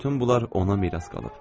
Bütün bunlar ona miras qalıb.